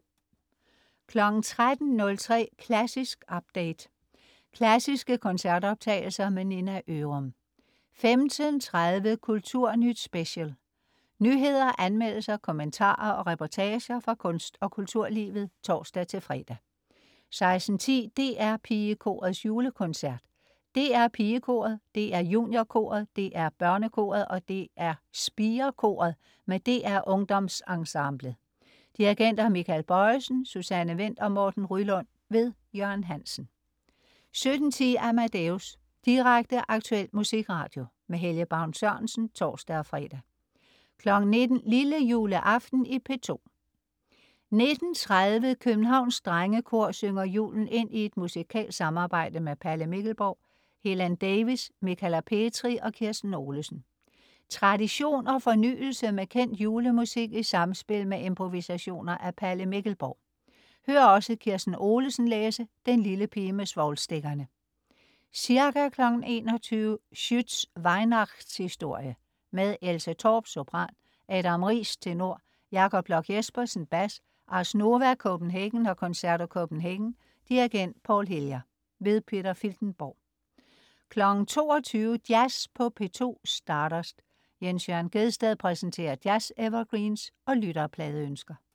13.03 Klassisk update. Klassiske koncertoptagelser. Nina Ørum 15.30 Kulturnyt Special. Nyheder, anmeldelser, kommentarer og reportager fra kunst- og kulturlivet (tors-fre) 16.10 DR PigeKorets Julekoncert. DR PigeKoret, DR JuniorKoret, DR BørneKoret og DR SpireKoret med DR UngdomsEnsemblet. Dirigenter: Michael Bojesen, Susanne Wendt og Morten Ryelund. Jørgen Hansen 17.10 Amadeus Direkte, aktuel musikradio. Helge Baun Sørensen (tors-fre) 19.00 Lillejuleaften i P2. 19.30 Københavns Drengekor synger julen ind i et musikalsk samarbejde med Palle Mikkelborg, Helen Davies, Michala Petri og Kirsten Olesen. Tradition og fornyelse med kendt julemusik i samspil med improvisationer af Palle Mikkelborg. Hør også Kirsten Olesen læse "Den lille pige med svovlstikkerne". Ca. 21.00 Schütz' Weihnachtshistorie. Med Else Torp, sopran, Adam Riis, tenor, Jakob Bloch Jespersen, bas. Ars Nova Copenhagen og Concerto Copenhagen. Dirigent: Paul Hillier. Peter Filtenborg 22.00 Jazz på P2. Stardust. Jens Jørn Gjedsted præsenterer jazz-evergreens og lytterpladeønsker